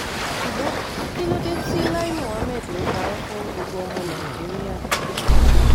ṣùgbọ́n kí ló dé tí lai muhammed ń parọ́ fún gbogbo ọmọ nàìjíríà